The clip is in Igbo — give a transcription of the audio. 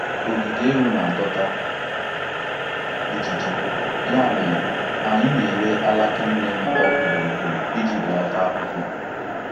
Ogige ewu na-adọta ijiji, ya mere anyị na-érè alaka neem okú gburugburu iji belata ahụhụ.